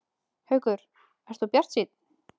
Haukur: Ert þú bjartsýnn?